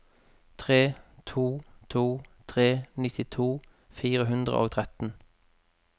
tre to to tre nittito fire hundre og tretten